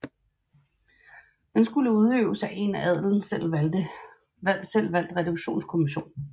Den skulde udøves af en af adelen selv valgt Reduktionskommission